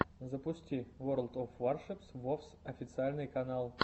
запусти ворлд оф варшипс вовс официальный канал